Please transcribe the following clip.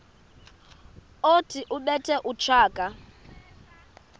othi ubethe utshaka